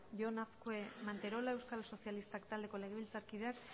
jon azkue manterola euskal sozialistak taldeko legebiltzarkideak